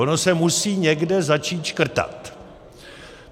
Ono se musí někde začít škrtat.